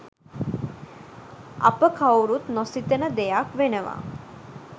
අප කවුරුත් නොසිතන දෙයක් වෙනවා